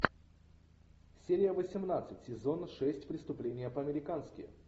серия восемнадцать сезона шесть преступление по американски